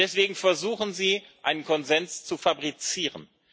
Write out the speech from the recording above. Deswegen versuchen Sie, einen Konsens zu fabrizieren.